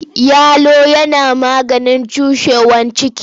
Yalo yana maganin cushewar ciki.